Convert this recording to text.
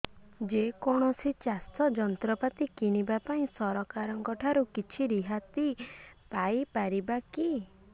ଯେ କୌଣସି ଚାଷ ଯନ୍ତ୍ରପାତି କିଣିବା ପାଇଁ ସରକାରଙ୍କ ଠାରୁ କିଛି ରିହାତି ପାଇ ପାରିବା କି